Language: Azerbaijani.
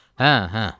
Hə, hə.